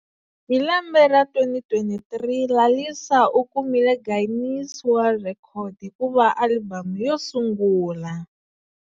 Hi lembe ra 2023,Lalisa u kumile Guinness World Record hiku va alibamu yosungula.